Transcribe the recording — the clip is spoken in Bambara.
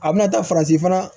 A bɛna taa farati fana